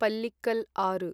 पल्लिक्कल् आरु